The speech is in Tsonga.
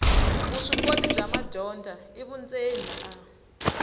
vuswikoti bya madyondza vundzeni a